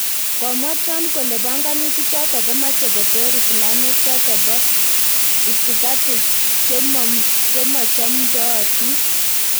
Komwa Trump kole banganutik choton komache koter Islamiek choton bo itikati chemochomdootin